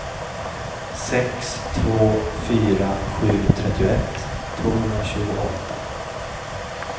sex två fyra sju trettioett tvåhundratjugoåtta